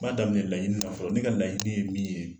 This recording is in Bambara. N b'a daminɛ laɲini na fɔlɔ ne ka laɲini ye min ye